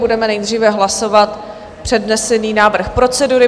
Budeme nejdříve hlasovat přednesený návrh procedury.